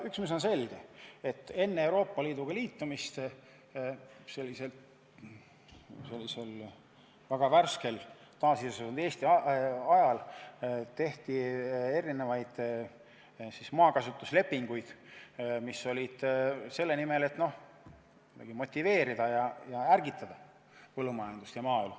Üks, mis on selge, on see, et enne Euroopa Liiduga liitumist, sellisel värskelt taasiseseisvunud Eesti ajal sõlmiti erinevaid maakasutuslepinguid, mis olid tehtud selle nimel, et motiveerida ja ärgitada põllumajandust ja maaelu.